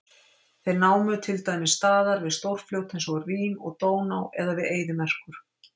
Þeir námu til dæmis staðar við stórfljót eins og Rín og Dóná eða við eyðimerkur.